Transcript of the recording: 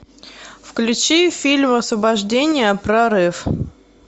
включи фильм освобождение прорыв